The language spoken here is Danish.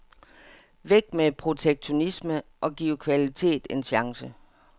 Væk med protektionisme og giv kvalitet en chance.